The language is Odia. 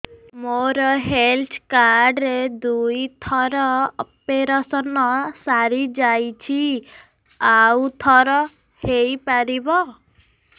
ମୋର ହେଲ୍ଥ କାର୍ଡ ରେ ଦୁଇ ଥର ଅପେରସନ ସାରି ଯାଇଛି ଆଉ ଥର ହେଇପାରିବ